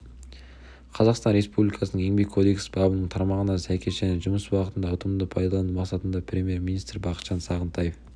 қазақстан республикасының еңбек кодексі бабының тармағына сәйкес және жұмыс уақытын ұтымды пайдалану мақсатында премьер-министрі бақытжан сағынтаев